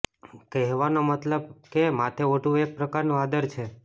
કહેવાનો મતલબ કે માથે ઓઢવું એક પ્રકારનું આદર છે